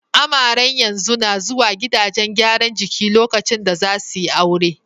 Amaren yanzu na zuwa gidajen gyaran jiki lokacin da za su yi aure.